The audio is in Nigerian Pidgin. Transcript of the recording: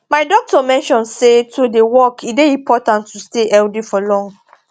my doctor mention say to dey walk e dey important to stay healthy for long